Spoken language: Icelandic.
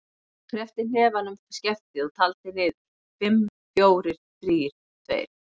Hann kreppti hnefann um skeftið og taldi niður: fimm, fjórir, þrír, tveir.